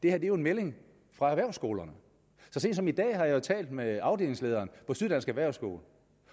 er jo en melding fra erhvervsskolerne så sent som i dag har jeg talt med afdelingslederen på syddansk erhvervsskole